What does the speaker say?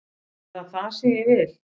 Er það það sem ég vil?